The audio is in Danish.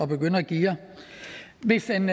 begynde at geare hvis en